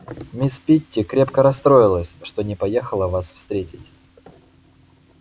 мисс питти крепко расстроилась что не поехала вас встретить